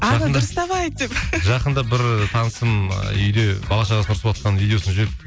жақында бір танысым үйде бала шағасына ұрсыватқан видеосын жіберіпті